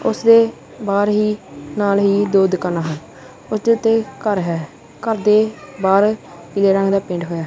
ਉਸਦੇ ਬਾਹਰ ਹੀ ਨਾਲ ਹੀ ਦੋ ਦੁਕਾਨਾਂ ਹਨ ਉੱਤੇ ਤੇ ਘਰ ਹੈ ਘਰ ਦੇ ਬਾਹਰ ਪੀਲੇ ਰੰਗ ਦਾ ਪੇਂਟ ਹੋਇਆ।